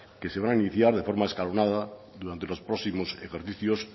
que se van a iniciar de forma escalonada durante los próximos ejercicios